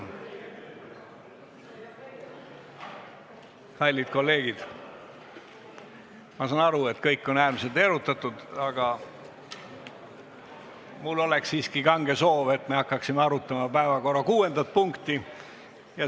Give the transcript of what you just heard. Kallid kolleegid, ma saan aru, et kõik on äärmiselt erutatud, aga mul oleks siiski kange soov, et me hakkaksime arutama päevakorra kuuendat punkti.